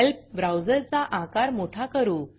help ब्राऊजरचा आकार मोठा करू